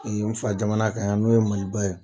n fa jamana kan yan n'o ye Maliba ye.